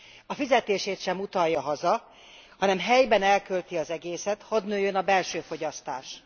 A fizetését sem utalja haza, hanem helyben elkölti az egészet, hadd nőjön a belső fogyasztás.